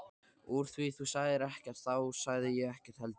Úr því þú sagðir ekkert þá sagði ég ekkert heldur.